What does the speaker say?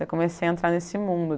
Daí comecei a entrar nesse mundo.